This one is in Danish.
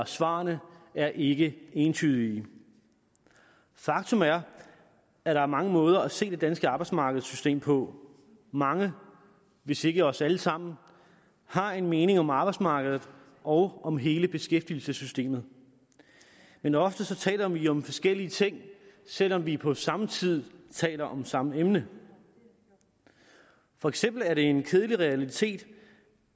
svarene er ikke entydige faktum er at der er mange måder at se det danske arbejdsmarkedssystem på mange hvis ikke os alle sammen har en mening om arbejdsmarkedet og om hele beskæftigelsessystemet men ofte taler vi om forskellige ting selv om vi på samme tid taler om samme emne for eksempel er det en kedelig realitet